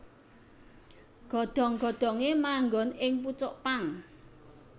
Godhong godhonge manggon ing pucuk pang